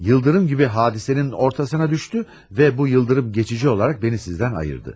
Yıldırım gibi hadisenin ortasına düştü ve bu yıldırım geçici olarak beni sizden ayırdı.